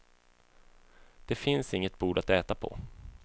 Det finns inget bord att äta på.